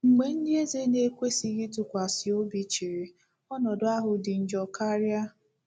Mgbe ndị eze na-ekwesịghị ntụkwasị obi chịrị, ọnọdụ ahụ dị njọ karịa.